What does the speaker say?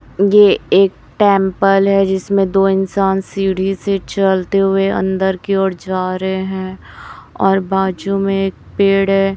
ये एक टेंपल है जिसमें दो इंसान सीढ़ी से चलते हुए अंदर की ओर जा रहे हैं और बाजू में एक पेड़ है।